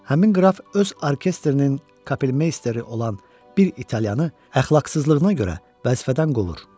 Həmin qraf öz orkestrinin kapelmeysteri olan bir italyanı əxlaqsızlığına görə vəzifədən qovur.